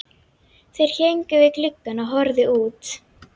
Þeir héngu við gluggann og horfðu út.